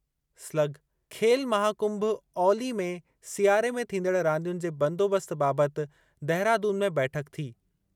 Slug— खेल महाकुंभ औली में सियारे में थींदड़ रांदियुनि जे बंदोबस्त बाबति देहरादून में बैठक थी।